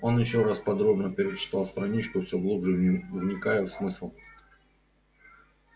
он ещё раз подробно перечитал страничку всё глубже вникая в смысл